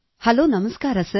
hello ನಮಸ್ಕಾರ sir